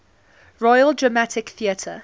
royal dramatic theatre